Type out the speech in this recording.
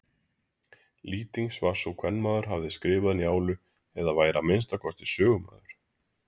Lýtings var sú að kvenmaður hefði skrifað Njálu eða væri að minnsta kosti sögumaður.